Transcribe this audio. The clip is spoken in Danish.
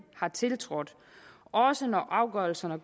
har tiltrådt også når afgørelserne